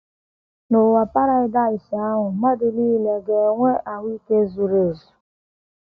N’ụwa Paradaịs ahụ, mmadụ nile ga - enwe ahụ́ ike zuru ezu